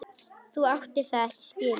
Þú áttir það ekki skilið.